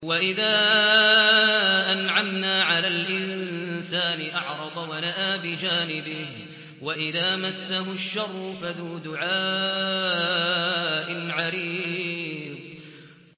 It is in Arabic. وَإِذَا أَنْعَمْنَا عَلَى الْإِنسَانِ أَعْرَضَ وَنَأَىٰ بِجَانِبِهِ وَإِذَا مَسَّهُ الشَّرُّ فَذُو دُعَاءٍ عَرِيضٍ